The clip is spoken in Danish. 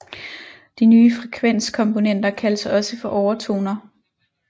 De nye frekvenskomponenter kaldes også for overtoner